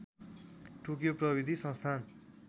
Tokyo प्रविधि संस्थान